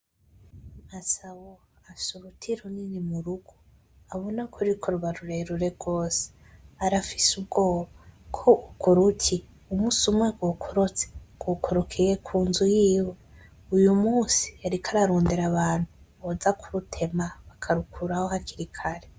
Gasabo afise uruti runini murugo, urabona ko rurikuba rurerure rwose arafise ubwoba ko urwo ruti umusi umwe rwokorotse, rwokorokeye kunzu yiwe. Uyumusi yariko arondera abantu boza kurutema bakarukuraho hakiri kare.